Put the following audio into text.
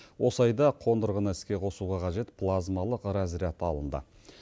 осы айда қондырғыны іске қосуға қажет плазмалық разряд алынды